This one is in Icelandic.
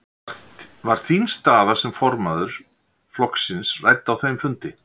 Var þín staða sem formaður flokksins rædd á þeim fundi?